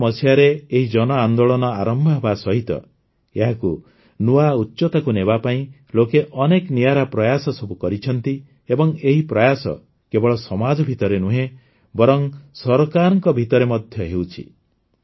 ୨୦୧୪ ମସିହାରେ ଏହି ଜନ ଆନ୍ଦୋଳନ ଆରମ୍ଭ ହେବା ସହିତ ଏହାକୁ ନୂଆ ଉଚ୍ଚତାକୁ ନେବା ପାଇଁ ଲୋକେ ଅନେକ ନିଆରା ପ୍ରୟାସ ସବୁ କରିଛନ୍ତି ଏବଂ ଏହି ପ୍ରୟାସ କେବଳ ସମାଜ ଭିତରେ ନୁହେଁ ବରଂ ସରକାରଙ୍କ ଭିତରେ ମଧ୍ୟ ହେଉଛି